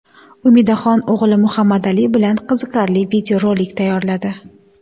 Umidaxon o‘g‘li Muhammadali bilan qiziqarli videorolik tayyorladi.